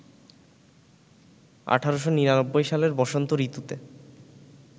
১৮৯৯ সালের বসন্ত ঋতুতে